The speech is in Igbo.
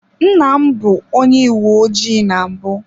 Nna m bụ onye uwe ojii na mbụ.